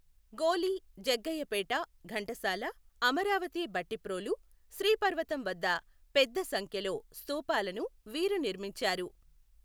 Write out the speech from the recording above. గోలి, జగ్గయ్యపేట, ఘంటసాల, అమరావతి భట్టిప్రోలు, శ్రీ పర్వతం వద్ద పెద్ద సంఖ్యలో స్థూపాలను వీరు నిర్మించారు.